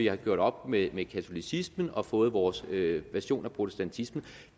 har gjort op med katolicismen og fået vores version af protestantismen